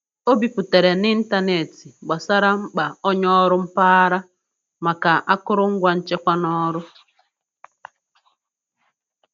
O biputere n'ịntanetị gbasara mkpa onye ọrụ mpaghara maka akụrụngwa nchekwa na'ọrụ.